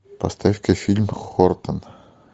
поставь ка фильм хортон